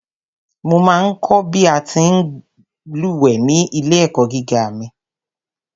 Mo ma ń kọ̀ bí a ti ń lúwẹ̀ẹ́ ní ilé-ẹ̀kọ́ gíga mi.